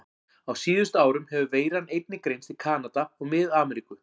Á síðustu árum hefur veiran einnig greinst í Kanada og Mið-Ameríku.